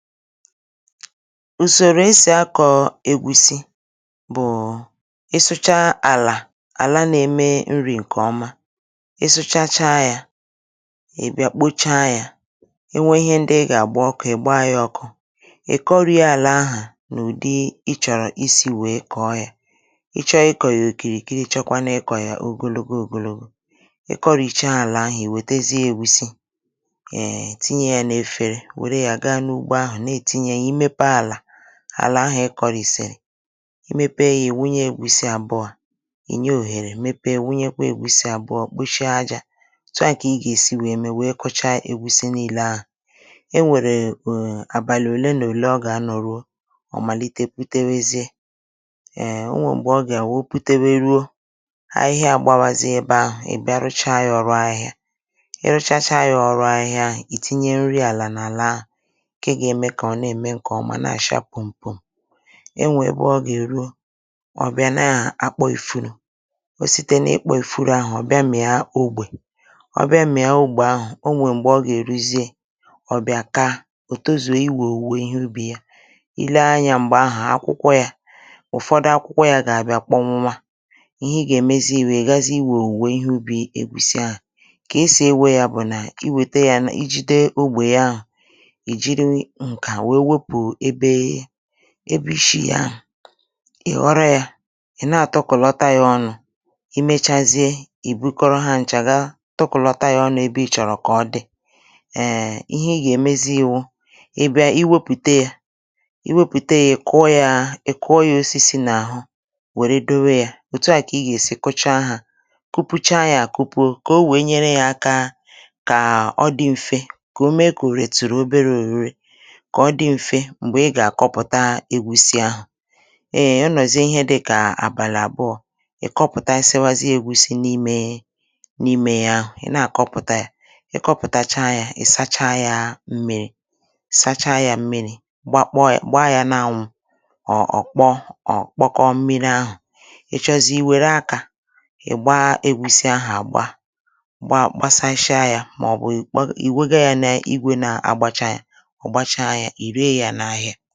ùsòrò esì akọ̀ ègwùsi bụ̀; ị sụchaa àlà, àla na-eme nri̇ ǹkè ọma, ị sụchacha yȧ, ị̀ bịa kpocha yȧ, e nwee ihe ndị ị gà àgba ọkụ̇, ị̀ gbaa ya ọkụ, ị̀ kọrị̇ àlà ahụ̀ n’ụ̀dị ị chọ̀rọ̀ isi wèe kọ̀ọ yȧ. ị chọ ịkọ̇ yȧ òkìrì kịrị, chọkwau ịkọ̀ yȧ ogologo ogologo. ị kọrì cha àlà ahụ̀, ì wetezie ègusi, um tìnyè n'èfere. Nwèrè yà ga n'ụgbo ahụ, n'etinye. Ị mepee àlà, àlà ahụ̀ ịkọ̇rịsịrị, imėpe yȧ, ì wunye ègusi àbụọ, ì nye òhèrè, mepe wunyekwa ègusi àbụọ kpochie ajȧ, o tụà kà ị gà-èsi wèe mee wèe kọcha ègusi niilė ahụ̀. E nwèrè e e àbàlì olee nà olee ọ gà-anọ̀ ruo, ọ̀ màlite pụtewezie, ee o nwèrè mgbè ọ gà-àwụ o putebe ruo, ahịhịa àgbawazị ebe ahụ̀, ibia a rụchaa yȧ ọrụ ahịhịa. I rụchacha yȧ ọrụ ahịhịa, ì tinye nri àlà n’àla ahụ̀. Nkè gà-ème kà ọ nà-ème ǹkè ọma na-àcha pumpum̀. E nwè ebe ọ gà-èruo, ọ bìa na-àkpọ ìfuru, o site na-ikpȧ ìfuru ahụ̀ ọ bìa mị̀a ogbè. ọ bìa mị̀a ogbè ahụ̀, o nwè m̀gbè ọ gà-èruziė, ọ bìa kà, òtozie iwè owùwe ihe ubi yà. I lee anyȧ m̀gbè ahụ̀, akwụkwọ yà ,ụ̀fọdụ akwụkwọ yà gà àbịa kpọ nwụnwȧ. Ihe ị gà-èmezi ewè, ị gazi iwè owùwe ihe ubì egwùsị ahụ̀. Kà esì ewe yà bụ̀ nà, i wète yȧ na, i jide ogbè ya, I jiri nka wee wepu ebe ishi̇ ya, ị̀ ghọrọ yȧ, ị̀ na-àtọkụ̀lọta yȧ ọnụ̇, i mechazie, ì bukọrọ hȧ nchà ga tokòlọta yȧ ọnụ̇ ebe ị̇chọ̀rọ̀ kà ọ dị̇. Ee ihe ị gà-èmezi wu, ị bịa iwepùte yȧ, iwepùte yȧ, ị̀ kụọ yȧ, ị kụọ yȧ osisi n’àhụ, wère dowe yȧ, òtu à kà ị gà-èsi kụchaa hȧ. Kupucha yȧ àkụpụ̀ o, kà o wèe nyere yȧ aka kà ọ dị mfe, kà o mee kà òre tùrù obere òrure, kà ọ di mfe m̀gbè ɪ gà-àkọpụ̀ta egwusi ahụ̀. E e ọ nọzie ihe dịkà àbàli àbụọ, ì kọpụ̀ta à sịwazịe egwusi n’imė, n’imė ya àɦu. I na-àkọpụ̀ta ya, ị kọpụtacha ya ì sacha ya mmi̇ri, sacha ya mmi̇ri, gbakpo ya, gbaa ya n’anwụ̇, ọ̀ ọ̀ kpọ ọ̀ kpọkọ mmiri ahụ̀. ị chọzie i wère akȧ, ị̀ gbaa egwusi ahụ̀ àgba, gbà gbasashịa ya, mà ọ bụ̀ i wega ya n’igwè na-agbacha ya, ọ̀ gbàcha yà, ire ya n’ahịa.